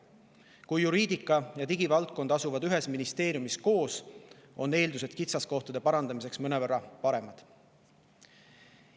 Kui juriidika ja digivaldkond asuvad ühes ministeeriumis koos, on eeldused kitsaskohtade parandamiseks mõnevõrra paremad.